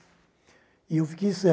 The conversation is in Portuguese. E eu fiquei